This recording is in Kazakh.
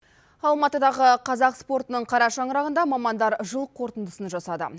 алматыдағы қазақ спортының қара шаңырағында мамандар жыл қорытындысын жасады